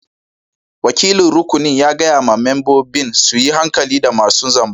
Wakilin rukunin ya gaya ma membobin su yi hankali da masun zamba.